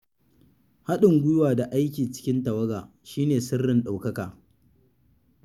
Haɗin guiwa da aiki cikin tawaga shi ne sirrin ɗaukaka.